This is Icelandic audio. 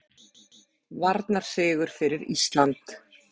Varnarsigur fyrir Ísland